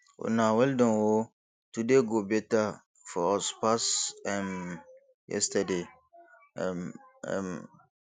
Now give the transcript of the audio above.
una well Accepted oo today go better for us pass um yesterday um um